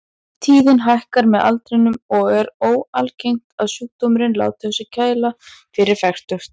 Tíðnin hækkar með aldrinum og er óalgengt að sjúkdómurinn láti á sér kræla fyrir fertugt.